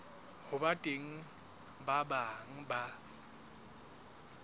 ho teng ba bang ba